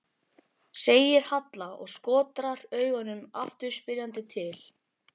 segir Halla og skotrar augunum aftur spyrjandi til